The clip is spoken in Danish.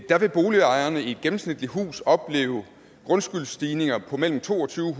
der vil boligejerne i et gennemsnitligt hus opleve grundskyldsstigninger på mellem to tusind